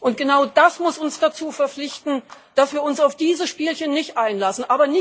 Und genau das muss uns dazu verpflichten, dass wir uns auf diese Spielchen nicht einlassen.